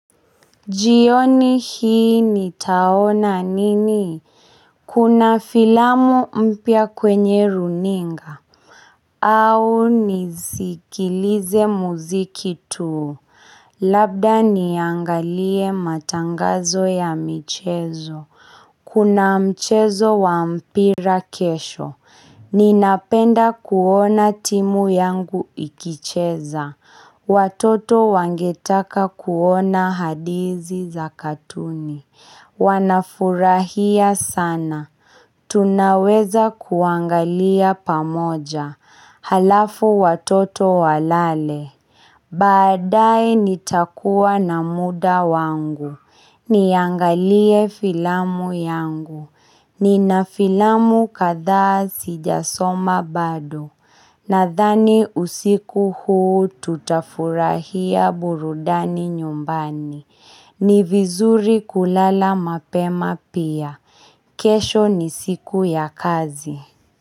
Jioni hii nitaona nini Kuna filamu mpya kwenye runinga au nisikilize mziki tu Labda niangalie matangazo ya michezo Kuna mchezo wa mpira kesho Ninapenda kuona timu yangu ikicheza Watoto wangetaka kuona hadithi za katuni Wanafurahia sana, tunaweza kuangalia pamoja alafu watoto walale. Baadae nitakuwa na muda wangu Niangalie filamu yangu. Nina filamu kadhaa sijasoma bado Nadhani usiku huu tutafurahia burudani nyumbani. Ni vizuri kulala mapema pia. Kesho ni siku ya kazi.